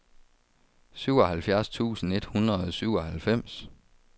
syvoghalvfjerds tusind et hundrede og syvoghalvfems